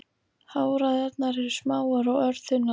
Háræðarnar eru smáar og örþunnar.